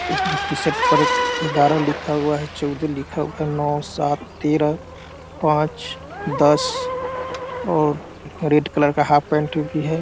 इसलिए टी-शर्ट पर ग्यारह लिखा हुआ है चौदह लिखा हुआ नौ सात तेरह पाँच दस और रेड कलर का हाफ पैंट भी है।